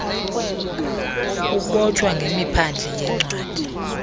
kubotshwa ngemiphandle yencwadi